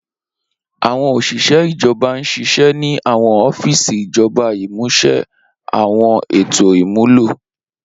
Awọn oṣiṣẹ ijọba n ṣiṣẹ ni awọn ọfiisi ijọba, imuse awọn eto imulo.